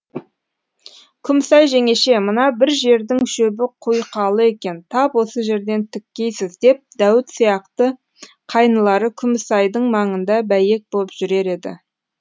күмісай жеңеше мына бір жердің шөбі құйқалы екен тап осы жерден тіккейсіз деп дәуіт сияқты қайнылары күмісайдың маңында бәйек боп жүрер еді